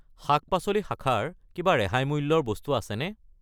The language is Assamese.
শাক-পাচলি শাখাৰ কিবা ৰেহাই মূল্যৰ বস্তু আছেনে?